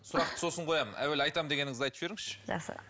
сұрақты сосын қоямын әуелі айтамын дегеніңізді айтып жіберіңізші жақсы